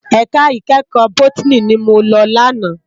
Èká ikèékò bótìní ni mó lò làná